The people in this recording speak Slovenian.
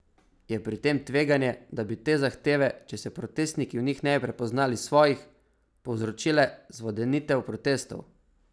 Je pri tem tveganje, da bi te zahteve, če se protestniki v njih ne bi prepoznali svojih, povzročile zvodenitev protestov?